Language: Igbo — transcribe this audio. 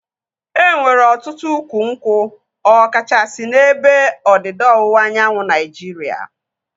E nwere ọtụtụ ukwu nkwụ ọ kachasị n'ebe ndịda ọwụwa anyanwụ Naịjiria